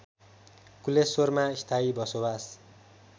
कुलेश्वरमा स्थायी बसोबास